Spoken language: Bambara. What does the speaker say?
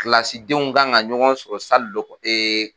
Kilasidenw ka kan ka ɲɔgɔn sɔrɔ dɔ ee